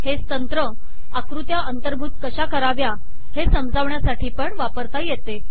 हेच तंत्र आकृत्यां अंतर्भूत कश्या कराव्या हे समजवण्यासाठीपण वापरता येते